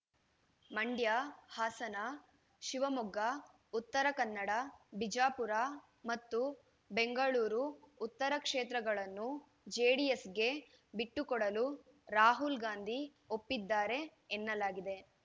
ಮಂಡ್ಯ ಹಾಸನ ಶಿವಮೊಗ್ಗ ಉತ್ತರ ಕನ್ನಡ ಬಿಜಾಪುರ ಮತ್ತು ಬೆಂಗಳೂರು ಉತ್ತರ ಕ್ಷೇತ್ರಗಳನ್ನು ಜೆಡಿಎಸ್‌ಗೆ ಬಿಟ್ಟುಕೊಡಲು ರಾಹುಲ್‌ಗಾಂಧಿ ಒಪ್ಪಿದ್ದಾರೆ ಎನ್ನಲಾಗಿದೆ